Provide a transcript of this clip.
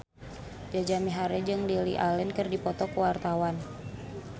Jaja Mihardja jeung Lily Allen keur dipoto ku wartawan